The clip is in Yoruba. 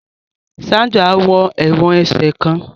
Sandra wọ èwòn ẹsẹ kán